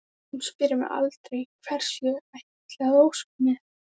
Brosandi og hlý og hæg í mildri golunni.